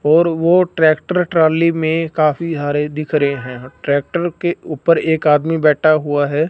और वो tractor trolley में काफी हरे दिख रहें हैं ट्रैक्टर के ऊपर एक आदमी बैठा हुआ हैं।